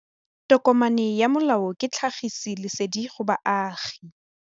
Tokomane ya molao ke tlhagisi lesedi go baagi.